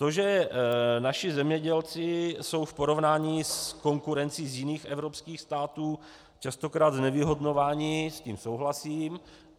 To, že naši zemědělci jsou v porovnání s konkurencí z jiných evropských států častokrát znevýhodňováni, s tím souhlasím.